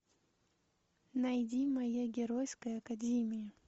найди моя геройская академия